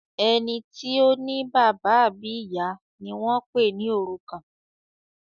Ẹní tí o ní bàbá àbí ìyá ní wón pè ní òrùkan.